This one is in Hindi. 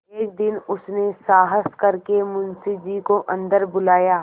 एक दिन उसने साहस करके मुंशी जी को अन्दर बुलाया